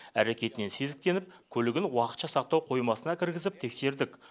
әрекетінен сезіктеніп көлігін уақытша сақтау қоймасына кіргізіп тексердік